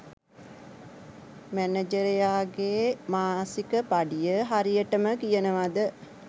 මැනජරයාගේ මාසික පඩිය හරියටම කියනවද?